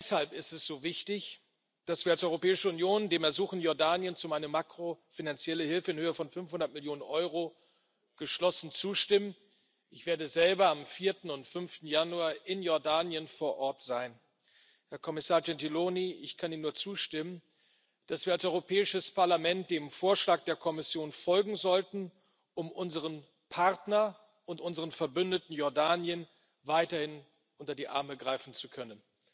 Deshalb ist es so wichtig, dass wir als Europäische Union dem Ersuchen Jordaniens um eine makrofinanzielle Hilfe in Höhe von 500 Millionen Euro geschlossen zustimmen. Ich werde selber am 4. und 5. Januar in Jordanien vor Ort sein. Herr Kommissar Gentiloni, ich kann Ihnen nur zustimmen, dass wir als Europäisches Parlament dem Vorschlag der Kommission folgen sollten, um unserem Partner und unserem Verbündeten Jordanien weiterhin unter die Arme greifen zu können.